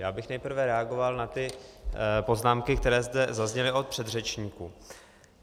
Já bych nejprve reagoval na ty poznámky, které zde zazněly od předřečníků.